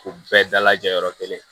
K'u bɛɛ dalajɛ yɔrɔ kelen